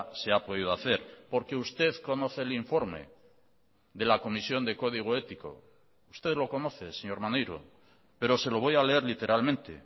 se ha podido hacer porque usted conoce el informe de la comisión de código ético usted lo conoce señor maneiro pero se lo voy a leer literalmente